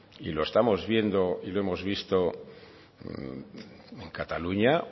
y lo estamos viendo y lo hemos visto en cataluña